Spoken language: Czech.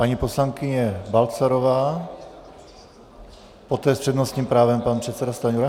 Paní poslankyně Balcarová, poté s přednostním právem pan předseda Stanjura.